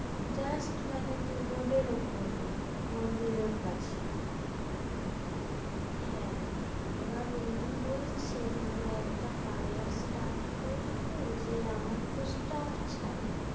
Just মানে তোর road এর ওপরেই মন্দিরের কাছে, হ্যাঁ এবার উনি বলছেন যে একটা parlour start করবো যে আমার তো staff চাই